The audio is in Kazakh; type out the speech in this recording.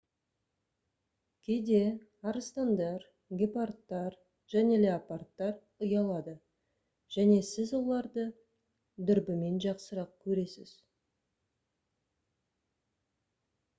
кейде арыстандар гепардтар және леопардтар ұялады және сіз оларды дүрбімен жақсырақ көресіз